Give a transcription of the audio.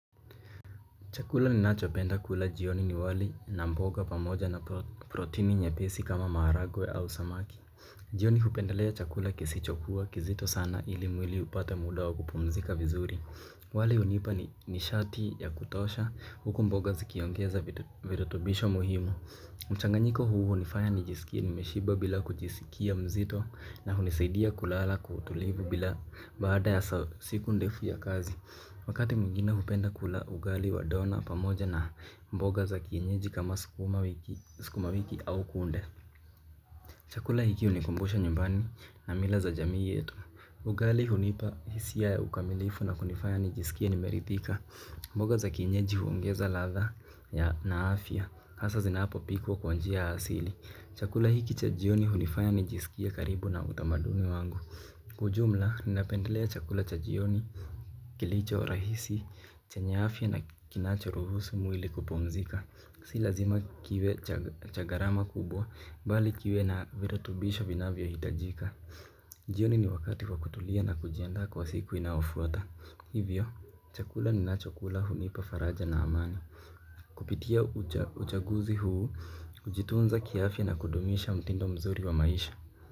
Chakula ni nacho penda kula jioni ni wali na mboga pamoja na protini nyepesi kama maragwe au samaki. Jioni upendelea chakula kisichokuwa kizito sana ili mwili upate muda wa kupumzika vizuri. Wali unipa nishati ya kutosha huku mboga zikiongeza virutubisho muhimu. Mchanganyiko huu unifanya nijisikie nimeshiba bila kujisikia mzito na hunisidia kulala kwa utulivu bila baada ya siku ndefu ya kazi. Wakati muingine hupenda kula ugali wa dona pamoja na mboga za kienyeji kama sikuma wiki au kunde. Chakula hiki unikumbusha nyumbani na mila za jamii yetu. Ugali hunipa hisia ya ukamilifu na kunifanya nijisikie nimeritika. Mboga za kienyeji huongeza latha ya na afia hasa zinaapo pikwa kwa njia asili. Chakula hiki chajioni hunifanya nijisikia karibu na utamadumi wangu. Kwa ujumla, ninapendelea chakula cha jioni, kilicho rahisi, chenye afia na kinacho ruhusu muili kupumzika. Si lazima kiwe cha garama kubwa, bali kiwe na virutubisho vinavyo hitajika. Jioni ni wakati kwa kutulia na kujianda kwa siku inafuata. Hivyo, chakula ninacho kula hunipa faraja na amani. Kupitia uchaguzi huu, kujitunza kiafia na kudumisha mtindo mzuri wa maisha.